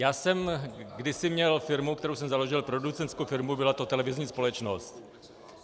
Já jsem kdysi měl firmu, kterou jsem založil, producentskou firmu, byla to televizní společnost.